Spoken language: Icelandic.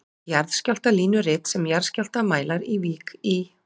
Jarðskjálftalínurit sem jarðskjálftamælar í Vík í